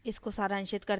इसको सारांशित करते हैं